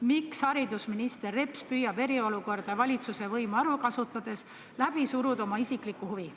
Miks haridusminister Reps püüab eriolukorda ja valitsuse võimu ära kasutades suruda läbi oma isiklikku huvi?